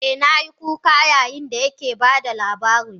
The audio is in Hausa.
Eh, na yi kuka yayin da yake ba da labarin.